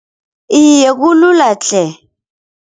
Iye kulula tle.